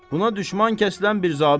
Buna düşmən kəsilən bir zabit.